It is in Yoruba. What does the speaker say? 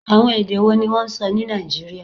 Awọn ede wo ni wọn sọ ni Naijiria?